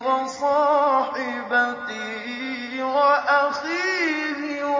وَصَاحِبَتِهِ وَأَخِيهِ